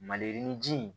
Maliyirini ji